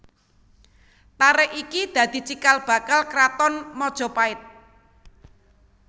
Tarik iki dadi cikal bakal kraton Majapahit